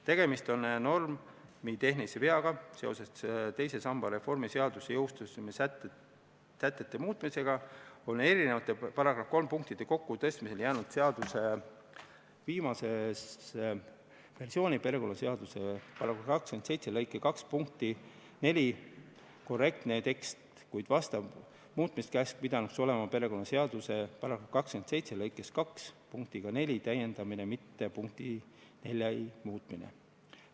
Tegemist on normitehnilise veaga: seoses teise samba reformi seaduse jõustumise sätete muutmisega on § 3 punktide kokkutõstmisel jäänud seaduse viimases versioonis perekonnaseaduse § 27 lõike 2 punkti 4 korrektne tekst, kuid vastav muutmiskäsk pidanuks olema perekonnaseaduse § 27 lõike 2 punktiga 4 täiendamine, mitte punkti 4 muutmine.